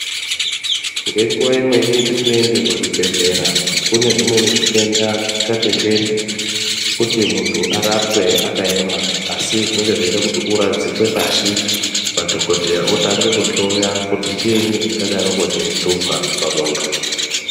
Ngenguwa imweni petinoende kuzvibhedhlera kune zvitenda zvimweni zvisingatenderi kuti muntu arapwe akaema asi zvinenge zveida kuti uradzikwe pashi madhokodheya otange kuhloya kuti chiini chingadaroko cheihlupa pamuntu.